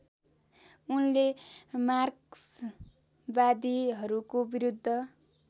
उनले मार्क्सवादीहरूको विरुद्ध